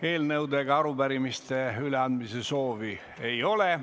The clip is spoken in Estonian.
Eelnõude ega arupärimiste üleandmise soovi ei ole.